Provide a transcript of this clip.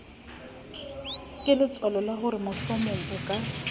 keletswalo la horemohlomong o ka